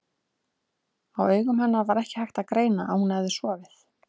Á augum hennar var ekki hægt að greina að hún hefði sofið.